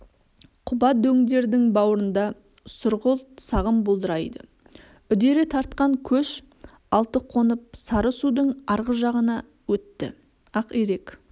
құба дөңдердің бауырында сұрғылт сағым бұлдырайды үдере тартқан көш алты қонып сары-судың арғы жағына өтті ақирек